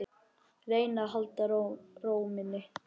Reyna að halda ró minni.